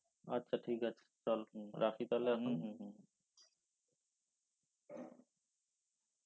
আচ্ছা ঠিকাছে চল হম রাখি তাহলে